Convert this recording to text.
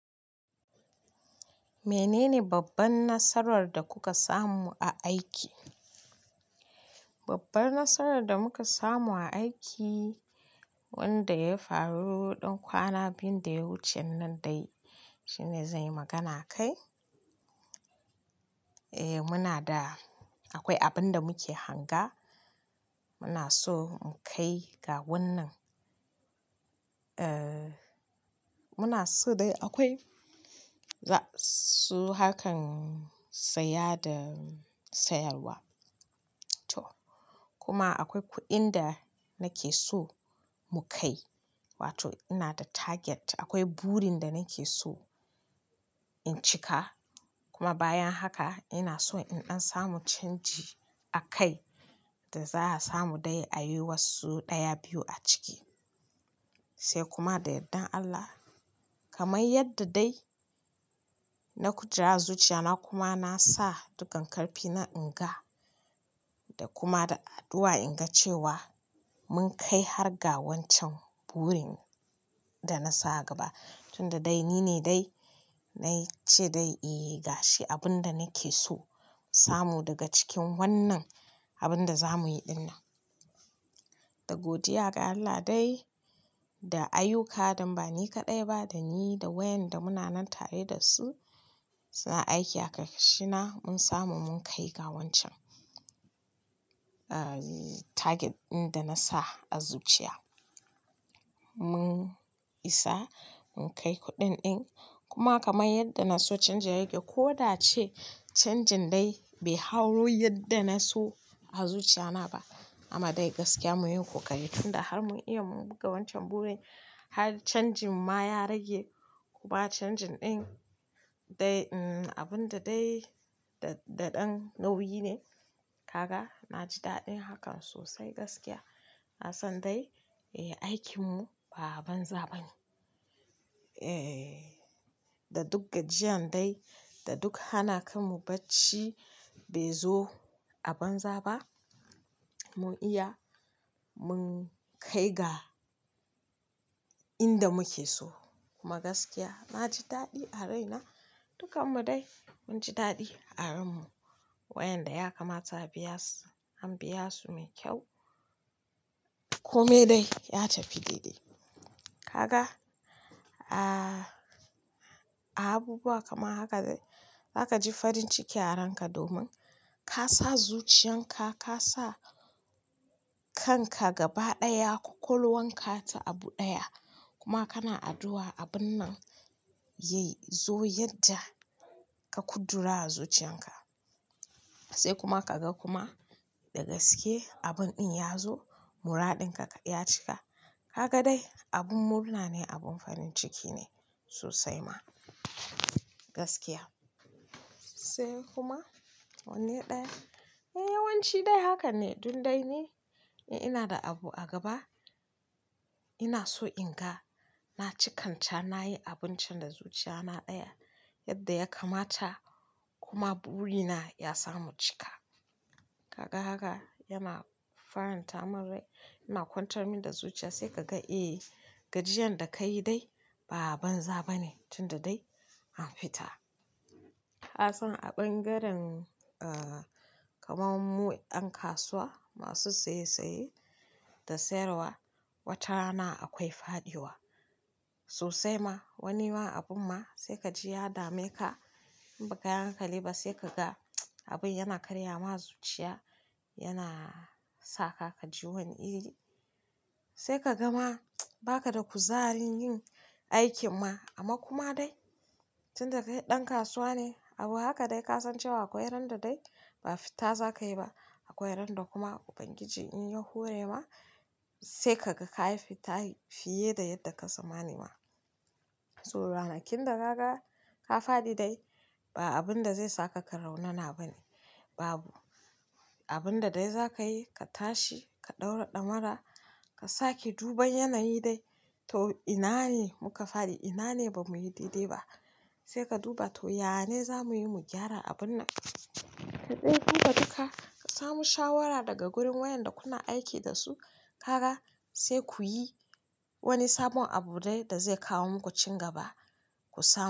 Menene babban nasarar da kuka samu a aiki? Babban Nasararda muka samu a aiki wanda ya faru ɗan kwana biyu daya wucennan dai, shine zanyi magana a kai. Eh munada, akwai abinda muke hanga, munaso mu kaiga wannan, eh munaso dai akwai, su hakan saya da sayarwa to. Kuma akwai kuɗinda nakeso mukai, wato inada target, akwai burinda nakeso in cika. Kuma bayan haka inaso in ɗan samu canji a kai da za'a samu dai ayi wasu ɗaya biyu a ciki. Sai kuma da yardan Allah, kamar yadda dai na kuja zuciyana kuma nasa dukkan ƙarfina inga, da kuma da addu'a inga cewa mun kai har ga wancan burin danasa a gaba. Tunda dai nine dai nacede inyi adashe abunda nakeso in samu daga cikin wannan abunda zamuyi dinnan da godiya ga Allah dai, da ayyuka, danba ni kaɗaiba, dani da wayanda munanan tare dasu suna aiki a karkashina mun samu munkai ga wancan, eh target ɗinda nasa a zuciya. Mun isa, munkai kuɗin ɗin, kuma kamar yadda naso canji ya rage ko da ace canjin dai bai hau yadda na so a zuciya naba. Amadai gaskiya munyi kokari tunda har mun iya mun cika wancan burin har canjimma ya rage. Kuma canjin ɗin dai abunda dai daɗan nauyi ne. Kaga, naji daɗin hakan sosai gaskiya. Nasan dai aikinmu ba'a banza ba ne. Eh, da duk gajiyan dai, da duk hana kanmu bacci baizo a banza ba. Mun iya, mun kai ga inda muke so. Kuma gaskiya naji daɗi a raina, dukanmu dai munji daɗi a ranmu. Wayanda ya kamata a biyasu an biyasu mai kyau, kome dai ya tafi dede. Kaga ahh a abubuwa kamar haka zakaji farin ciki a ranka domin kasa zuciyanka kasa kanka gaba daya kwakwalwanka da abu daya kuma kana aduwa abunnan yai yazo yadda ka Qudura a zuciyanka. Sai kuma kaga kuma da gaske abun ɗin yazo, muradinka ya cika. Kagadai abun murnane abun farin cikine sosaima gaskiya sai kuma wanne ɗaya, eh yawanci dai hakanne. Dundai ni, in inada abu a gaba inason inga, na cikanta, nayi abuncan da zuciya na ɗaya yadda ya kamata kuma burina ya samu cika. Kaga haka yana faranta munrai, yana kwantar minda zuciya sai kaga eh gajiyanda kayi dai ba'a banza bane tunda dai anfita. Kasan a ɓangaren, eh kamarmu ƴan kasuwa masu saye saye da sayarwa, watarana akwai faɗiwa sosaima. Wanima abunma sai kaji ya dameka, in bakayi hankaliba sai kaga abin yana karyama zuciya, yana saka kaji wani iri. Sai kagama ba kada kuzarin yin aikinma. Amma kuma dai tunda kai ɗan kasuwa ne, abu haka dai kasan cewa akwai randa dai ba fita zakayiba. Akwai ran lda kuma Ubangiji inya horema sai kaga kayi fita fiye da yadda ka tsammani ma. So ranakunda naga ka faɗi dai ba abunda zai saka ka raunana bane, babu. Abunda dai zakayi, ka tashi, ka ɗaura damara, ka sake duban yanayi dai to inane muka faɗi, inane bamuyi dedeba. Saika duba to yanane zamuyi mu gyara abunnan. Ka ɗebi kuma duka ka samu shawara daga wurin wayanda kuna aiki dasu, kaga saikuyi wani sabon abu dai da zai kawo muku cin gaba ku samu.